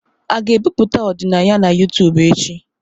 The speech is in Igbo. A ga-ebipụta ọdịnaya na YouTubu echi?